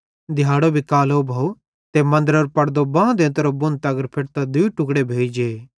दिहाड़ो भी कालो भोव ते मन्दरेरो पड़दो बां देंता बुण तगर फेटतां दूई टुक्ड़े भोइ जे